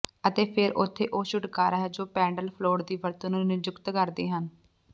ਅਤੇ ਫਿਰ ਉੱਥੇ ਉਹ ਛੁਟਕਾਰਾ ਹੈ ਜੋ ਪੈਡਲ ਫਲੋਟ ਦੀ ਵਰਤੋਂ ਨੂੰ ਨਿਯੁਕਤ ਕਰਦੇ ਹਨ